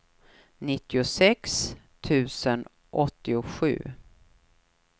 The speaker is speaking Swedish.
nittiosex tusen åttiosju